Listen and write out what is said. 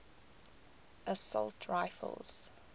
assault rifles